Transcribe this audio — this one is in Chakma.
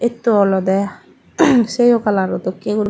etto olode seyo kalaro dokke guri.